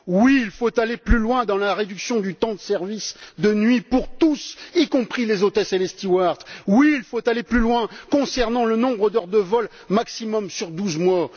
Oui, il faut aller plus loin dans la réduction du temps de service de nuit pour tous, y compris les hôtesses et les stewards. Oui, il faut aller plus loin concernant le nombre d'heures de vol maximum sur douze mois.